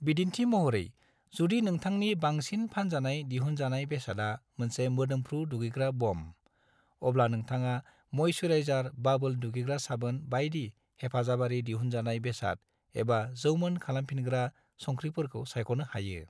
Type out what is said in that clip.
बिदिन्थि महरै, जुदि नोंथांनि बांसिन फानजानाय दिहुनजानाय बेसादा मोनसे मोदोमफ्रु दुगैग्रा बम, अब्ला नोंथाङा मयस्याराइजार बाबोल दुगैग्रा साबोन बायदि हेफाजाबारि दिहुनजानाय बेसाद एबा जौमोन खालामफिनग्रा संख्रिफोरखौ सायख'नो हायो।